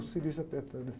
O cilício apertando assim.